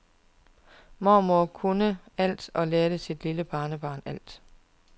Mormor kunne alt og lærte sit lille barnebarn alt.